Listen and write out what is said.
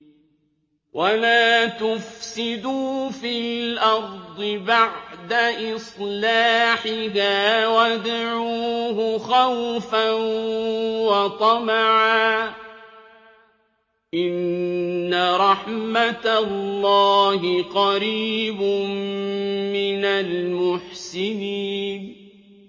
وَلَا تُفْسِدُوا فِي الْأَرْضِ بَعْدَ إِصْلَاحِهَا وَادْعُوهُ خَوْفًا وَطَمَعًا ۚ إِنَّ رَحْمَتَ اللَّهِ قَرِيبٌ مِّنَ الْمُحْسِنِينَ